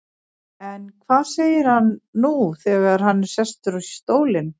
En hvað segir hann nú þegar hann er sestur í stólinn?